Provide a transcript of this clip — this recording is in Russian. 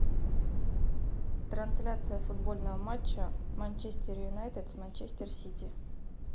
трансляция футбольного матча манчестер юнайтед с манчестер сити